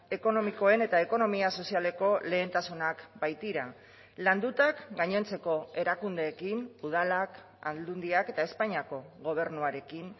ekonomikoen eta ekonomia sozialeko lehentasunak baitira landutak gainontzeko erakundeekin udalak aldundiak eta espainiako gobernuarekin